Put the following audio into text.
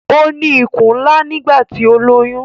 Ó ní ikùn ńlá nígbà tí ó lóyún